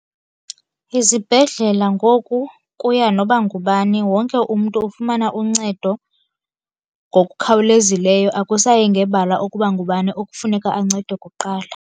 Izibhedlela ngoku kuya noba ngubani. Wonke umntu ufumana uncedo ngokukhawulezileyo, akusayi ngebala ukuba ngubani okufuneka ancedwe kuqala.